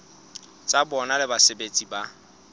tsa bona le basebeletsi ba